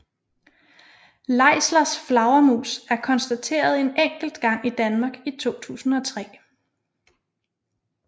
Leislers flagermus er konstateret en enkelt gang i Danmark i 2003